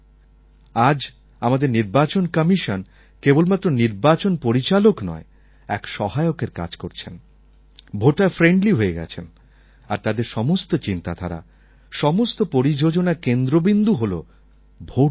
আজ আমাদের নির্বাচন কমিশন কেবলমাত্র নির্বাচন পরিচালক নয় এক সহায়কের কাজ করছেন ভোটারফ্রেণ্ডলি হয়ে গেছেন আর তাদের সমস্ত চিন্তাধারা সমস্ত পরিযোজনার কেন্দ্রবিন্দু হল ভোটদাতা